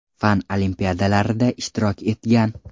Fan olimpiadalarida ishtirok etgan.